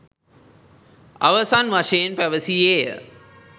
අවසන් වශයෙන් පැවසීය.